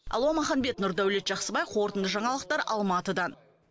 алуа маханбет нұрдәулет жақсыбай қорытынды жаңалықтар алматыдан